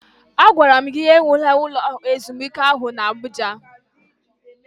Agwara m gi ewula ụlọ ezumike ahu na Abụja!